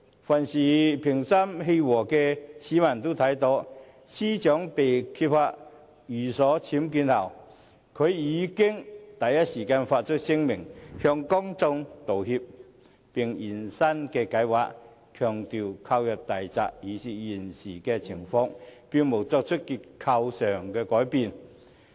凡是心平氣和的市民都看到，司長被揭發寓所僭建後，已第一時間發出聲明向公眾道歉，並現身"解畫"，強調大宅購入時已是現時情況，並無作出結構改動。